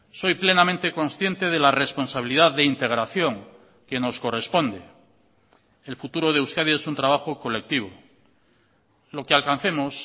soy plenamente consciente de la responsabilidad de integración que nos corresponde el futuro de euskadi es un trabajo colectivo lo que alcancemos